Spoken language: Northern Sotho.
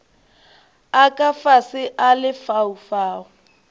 a ka fase a lefaufau